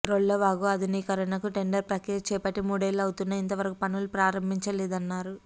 రొల్లవాగు ఆధునీకరణకు టెండర్ ప్రక్రియ చేపట్టి మూడేళ్లు అవుతున్నా ఇంతవరకు పనులు ప్రారంభించలేదన్నారు